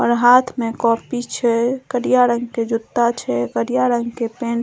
और हाथ में कॉपी छै करिया रंग के जुत्ता छै करिया रंग के पेंट --